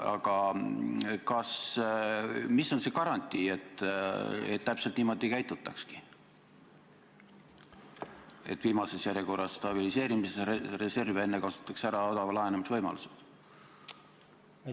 Aga mis on see garantii, et täpselt niimoodi käitutaksegi, et viimaseks jäetakse stabiliseerimisreserv ja enne kasutatakse ära odava laenamise võimalused?